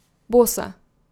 Bosa.